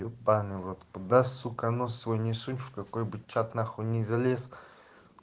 ебанный в рот куда сука нос свой не сунь в какой бы чат нахуй не залез